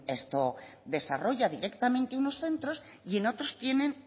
desarrolla directamente unos centros y en otros tienen